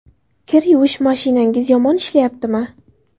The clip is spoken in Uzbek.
Kir yuvish mashinangiz yomon ishlayaptimi?